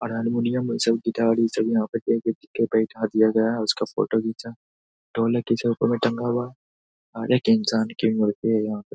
Are हरमुनिया ई सब गिटार ई सब यहाँ पे बैठा दिया गया है उसका फोटो घिचा ढोलक पीछे ऊपर में टंगा हुआ है हर एक इंसान की मूर्ति है यहां पे।